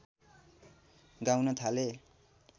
गाउन थाले